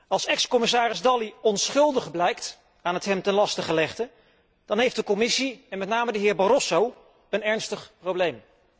Als ex commissaris Dalli onschuldig blijkt aan het hem ten laste gelegde, dan heeft de Commissie, en met name de heer Barroso, een ernstig probleem.